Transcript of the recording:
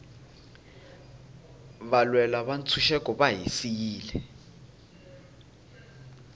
valwela ntshuxeko va hi siyile